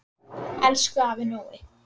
Elsku afi Nói.